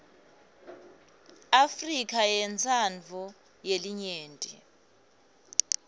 afrika yentsandvo yelinyenti